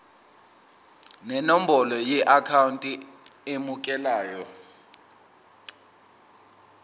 nenombolo yeakhawunti emukelayo